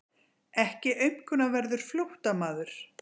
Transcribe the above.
Ekki aumkunarverður flóttamaður.